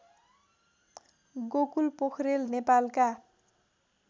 गोकुल पोखेरेल नेपालका